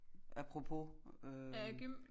Apropos øh